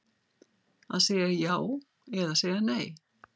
Að segja já eða segja nei